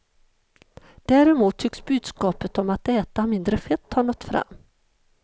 Däremot tycks budskapet om att äta mindre fett ha nått fram.